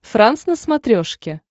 франс на смотрешке